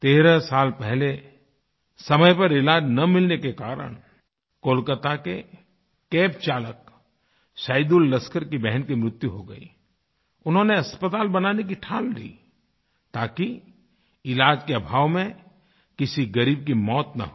13 साल पहले समय पर इलाज़ न मिलने के कारण कोलकाता के Cabचालक सैदुललस्कर SaidulLaskarकी बहन की मृत्यु हो गयी उन्होंने अस्पताल बनाने की ठान ली ताकि इलाज़ के अभाव में किसी ग़रीब की मौत न हो